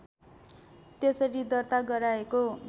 त्यसरी दर्ता गराएको